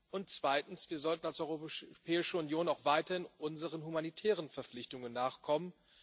Und zweitens Wir sollten als Europäische Union auch weiterhin unseren humanitären Verpflichtungen nachkommen.